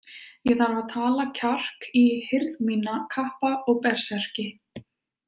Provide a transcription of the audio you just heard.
Ég þarf að tala kjark í hirð mína, kappa og berserki.